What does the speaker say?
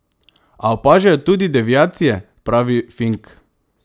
A opažajo tudi deviacije, pravi Fink.